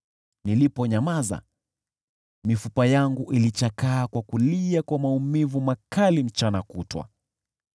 Niliponyamaza, mifupa yangu ilichakaa kwa kulia kwa maumivu makali mchana kutwa.